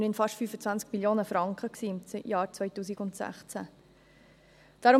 Es waren immerhin fast 25 Mio. Franken im Jahr 2016.